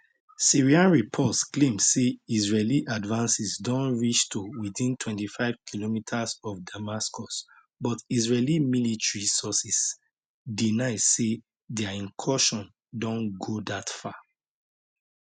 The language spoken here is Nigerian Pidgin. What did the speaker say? syrian reports claim say israeli advances don reach to within 25km of damascus but israeli military sources deny say dia incursion don go dat far